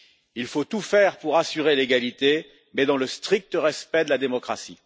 Il faut tout faire pour assurer l'égalité, mais dans le strict respect de la démocratie.